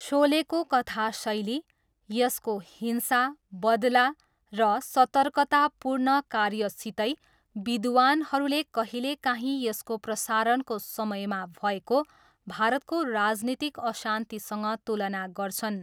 शोलेको कथा शैली, यसको हिंसा, बदला र सतर्कतापूर्ण कार्यसितै, विद्वानहरूले कहिलेकाहीँ यसको प्रसारणको समयमा भएको भारतको राजनीतिक अशान्तिसँग तुलना गर्छन्।